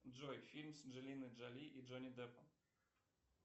джой фильм с анджелиной джоли и джонни деппом